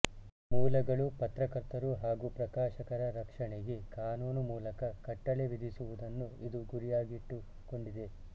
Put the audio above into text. ಮೂಲಗಳು ಪತ್ರಕರ್ತರು ಹಾಗೂ ಪ್ರಕಾಶಕರ ರಕ್ಷಣೆಗೆ ಕಾನೂನು ಮೂಲಕ ಕಟ್ಟಳೆ ವಿಧಿಸುವುದನ್ನು ಇದು ಗುರಿಯಾಗಿಟ್ಟುಕೊಂಡಿದೆ